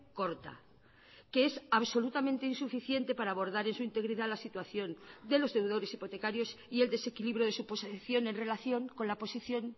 corta que es absolutamente insuficiente para abordar en su integridad la situación de los deudores hipotecarios y el desequilibrio de su posición en relación con la posición